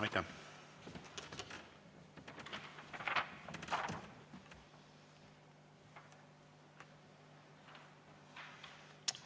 Aitäh!